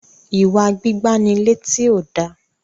iwa gbígbà ní létí o dá